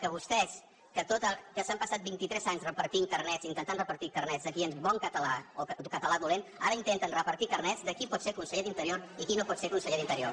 que vostès que s’han passat vint i tres anys repartint carnets intentant repartir carnets de qui és bon català o català dolent ara intenten repartir carnets de qui pot ser conseller d’interior i qui no pot ser conseller d’interior